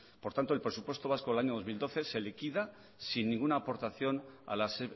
por tanto el presupuesto vasco del año dos mil doce se liquida sin ninguna aportación a las